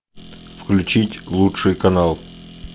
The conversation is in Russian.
включить лучший канал